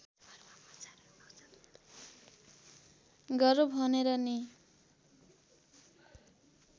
गरौँ भनेर नि